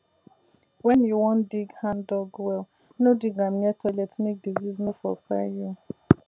when you won dig handdug well no dig am near toilet make disease nor for kpai you